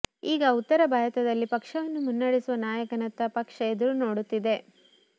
ಈಗ ಉತ್ತರ ಭಾರತದಲ್ಲಿ ಪಕ್ಷವನ್ನು ಮುನ್ನಡೆಸುವ ನಾಯಕನತ್ತ ಪಕ್ಷ ಎದುರು ನೋಡುತ್ತಿದೆ